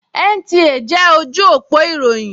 NTA jẹ́ ojú òpó ìròyìn